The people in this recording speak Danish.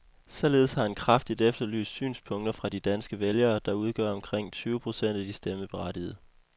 Således har han kraftigt efterlyst synspunkter fra de danske vælgere, der udgør omkring tyve procent af de stemmeberettigede.